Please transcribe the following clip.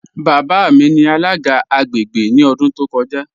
Baba mi ni alaga agbègbè ni ọ̀dún tó kọ́ja.